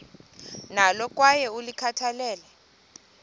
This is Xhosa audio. nalo kwaye ulikhathalele